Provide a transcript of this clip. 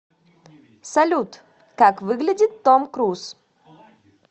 салют как выглядит том круз